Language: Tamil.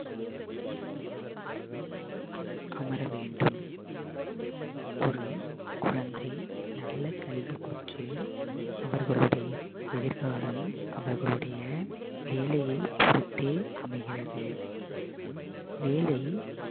அமர வேண்டும் ஒரு குழந்தை நல்ல கல்வி பெற்று அவர்களுடைய எதிர்காலம் அவர்களுடைய வேலையைப் பொறுத்தே அமைகிறது வேலை